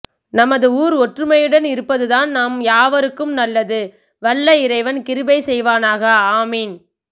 நமது ஊர் ஒற்றுமையுடன் இருப்பதுதான் நம் யாவருக்கும் நல்லது வல்ல இறைவன் கிருபை செய்வானாக ஆமீன்